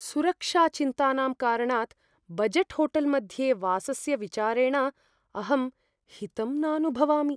सुरक्षाचिन्तानां कारणात् बजेट् होटेल्मध्ये वासस्य विचारेण अहं हितम् नानुभवामि।